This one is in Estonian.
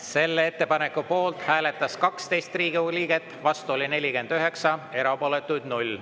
Selle ettepaneku poolt hääletas 12 Riigikogu liiget, vastu oli 49, erapooletuid oli 0.